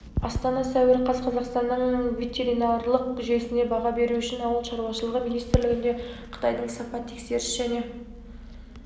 астана сәуір қаз қазақстанның ветеринарлық жүйесіне баға беру үшін ауыл шаруашылығы министрлігінде қытайдың сапа тексеріс және